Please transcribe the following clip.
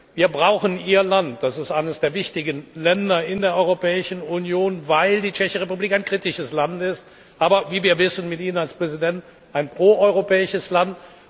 Wir brauchen Ihr Land. Das ist eines der wichtigen Länder in der Europäischen Union, weil die Tschechische Republik ein kritisches Land ist, aber wie wir wissen mit Ihnen als Präsident ein pro europäisches Land.